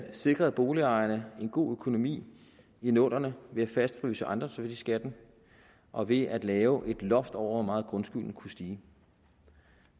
sikrede boligejerne en god økonomi i nullerne ved at fastfryse ejendomsværdiskatten og ved at lave et loft over hvor meget grundskylden kunne stige